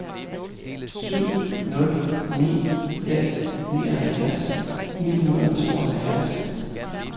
syv nul ni fem nioghalvfjerds ni hundrede og tooghalvfjerds